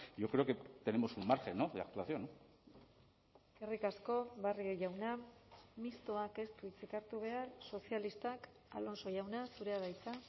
yo creo que tenemos un margen de actuación eskerrik asko barrio jauna mistoak ez du hitzik hartu behar sozialistak alonso jauna zurea da hitza